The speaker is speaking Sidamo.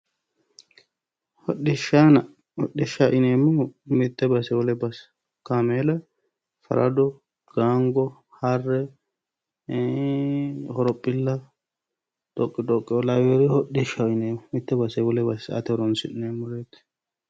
Hoxishshaano hoxishshaho yineemohu Mitte basee wole base kameela farado gaango harre horophilla xoqixoqeoo lawiyore hoxishshaho yineemo mitte basee wole base sa"ate horonsi'neemoreet